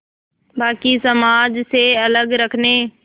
बाक़ी समाज से अलग रखने